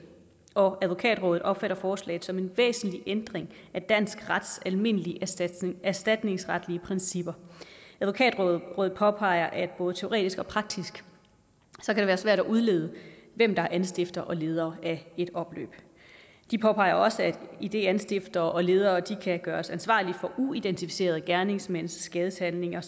og advokatrådet opfatter forslaget som en væsentlig ændring af dansk rets almindelige erstatningsretlige principper advokatrådet påpeger at det både teoretisk og praktisk kan være svært at udlede hvem der er anstifter og leder af et opløb de påpeger også at idet anstiftere og ledere kan gøres ansvarlige for uidentificerede gerningsmænds skadeshandlinger